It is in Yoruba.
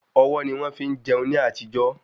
Ọwọ́ ni wọ́n fi ń jẹun ní àtijó